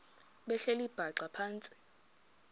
behleli bhaxa phantsi